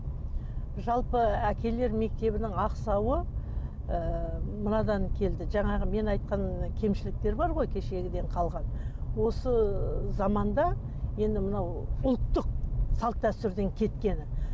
жалпы әкелер мектебінің ақсауы і мынадан келді жаңағы мен айтқан кемшіліктер бар ғой кешегіден қалған осы заманда енді мынау ұлттық салт дәстүрден кеткені